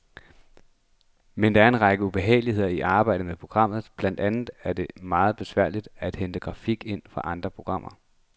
Men der er en række ubehageligheder i arbejdet med programmet, blandt andet er det meget besværligt at hente grafik ind fra andre programmer.